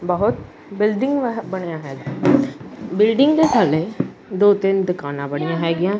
ਬਹੁਤ ਬਿਲਡਿੰਗ ਬਣਿਆ ਹੈਗੀਯਾਂ ਬਿਲਡਿੰਗ ਦੇ ਥੱਲੇ ਦੋ ਤਿੰਨ ਦੁਕਾਨਾਂ ਬਣਿਆ ਹੈਗੀਆਂ।